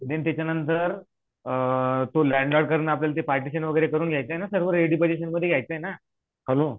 अन त्याच्या नन्तर अ तो लंड लॉर्डकडन आपल्याला ते पार्टेशन वगैरे करून घ्याच आहे ना सर्व तो रेडी पजेषणमध्ये घ्याचना हॅलो